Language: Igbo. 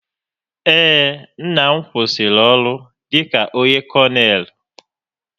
Ee, nna m kwụsịrị ọrụ dịka onye konel